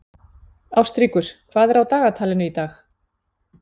Ástríkur, hvað er á dagatalinu í dag?